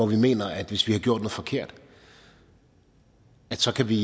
mener at hvis vi har gjort noget forkert så kan vi